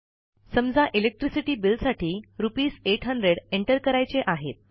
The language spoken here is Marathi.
समजा इलेक्ट्रिसिटी बिल साठी रुपीस 800 एंटर करायचे आहेत